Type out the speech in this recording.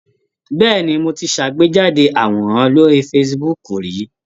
Bẹ́ẹ̀ni, mo ti ṣàgbéjáde àwòrán sórí Facebook rí.